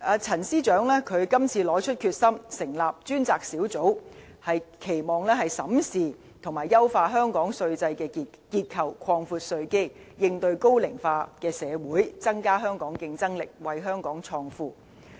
陳司長這次拿出決心，成立專責小組，是期望審視和優化香港稅制的結構，擴闊稅基，應對高齡化社會，增加香港競爭力，為香港創富。